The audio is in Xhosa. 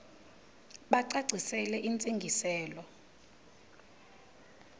bacacisele intsi ngiselo